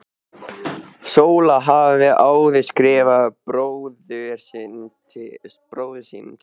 Sóla hafði áður skrifað bróður sínum til